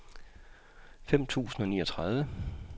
femten tusind og niogtredive